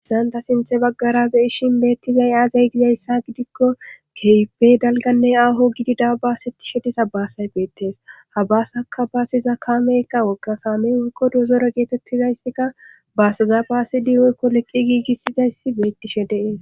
issan ta sinthe baggara be7ishin beettizay aaza gizayssa gidikko kehipe dalganne aaho gididaa basettishe diza basay beettees ha baasaka baasiza kaameykka wogga kaamey woykko dozore geetettizayssikka baaseza baasidi woykko leqqi giigissizayssi beettishe de7es